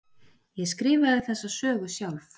Ég skrifaði þessa sögu sjálf.